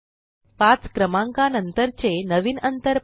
5 क्रमांका नंतरचे नवीन अंतर पहा